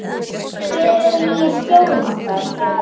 Hver er nýi stjórinn okkar?